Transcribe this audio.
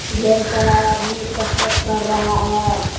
ढेर सारा आदमी कसरत कर रहा है।